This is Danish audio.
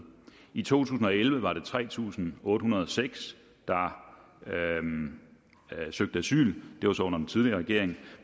i to tusind og elleve var det tre tusind otte hundrede og seks der søgte asyl det var så under den tidligere regering